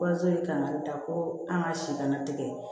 Kɔsɔyi kan ka da ko an ka si kana tigɛ